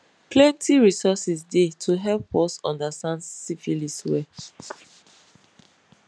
plenty resources dey to help us understand syphilis well